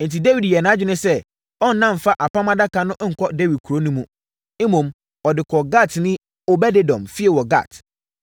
Enti, Dawid yɛɛ nʼadwene sɛ ɔnna mfa Apam Adaka no nkɔ Dawid kuro no mu. Mmom, ɔde kɔɔ Gatni, Obed-Edom fie wɔ Gat.